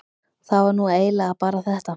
það var nú eiginlega bara þetta.